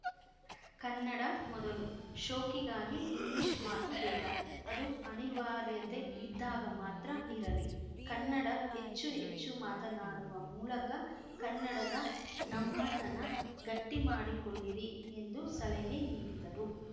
ಕನ್ನಡ ಮೊದಲು ಶೋಕಿಗಾಗಿ ಇಂಗ್ಲಿಷ್‌ ಮಾತು ಬೇಡ ಅದು ಅನಿವಾರ್ಯತೆ ಇದ್ದಾಗ ಮಾತ್ರ ಇರಲಿ ಕನ್ನಡ ಹೆಚ್ಚು ಹೆಚ್ಚು ಮಾತನಾಡುವ ಮೂಲಕ ಕನ್ನಡದ ನಮ್ಮತನ ಗಟ್ಟಿಮಾಡಿಕೊಳ್ಳಿರಿ ಎಂದು ಸಲಹೆ ನೀಡಿದರು